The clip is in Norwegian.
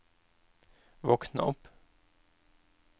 våkn opp